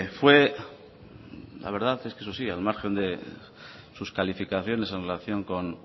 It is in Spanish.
fue la verdad es que eso sí al margen de sus calificaciones en relación con